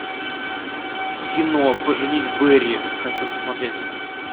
кино поженить бэрри хочу посмотреть